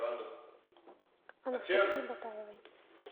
анастасии батаевой